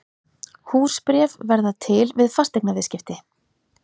Húsbréf verða til við fasteignaviðskipti.